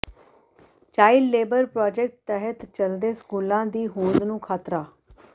child labour project ਤਹਿਤ ਚੱਲਦੇ ਸਕੂਲਾਂ ਦੀ ਹੋਂਦ ਨੂੰ ਖ਼ਤਰਾ